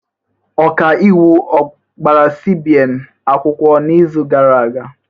Ọkaiwu a gbara CBN akwụkwọ n'izu gara aga?